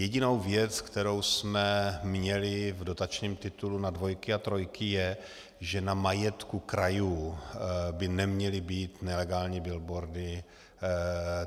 Jedinou věc, kterou jsme měli v dotačním titulu na dvojky a trojky, je, že na majetku krajů by neměly být nelegální billboardy.